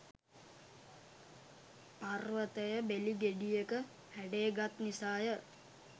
පර්වතය බෙලි ගෙඩියක හැඩය ගත් නිසා ය.